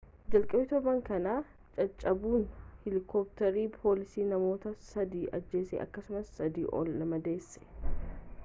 jalqaba turban kanaa caccabuun heelikooptara poolisii namoota sadi ajjeese akkasumas sadii ol madeesse